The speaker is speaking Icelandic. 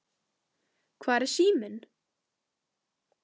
Hvar er síminn?